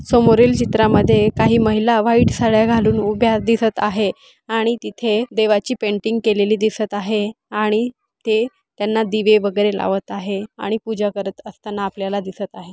समोरील चित्रामध्ये काही महिला व्हाइट साड्या घालून उभ्या दिसत आहे आणि तिथे देवाची पेंटिंग केलेली दिसत आहे आणि ते त्यांना दिवे वगैरे लावत आहे आणि पूजा करत असताना आपल्याला दिसत आहे.